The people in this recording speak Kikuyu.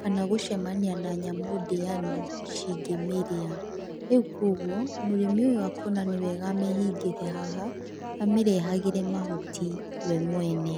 kana gũcemania na nyamũ ndĩani cingĩmĩrĩa,. Rĩu kũoguo, mũrĩmi ũyũ akona nĩwega amĩhingĩre haha amĩrehagĩre mahuti we mwene.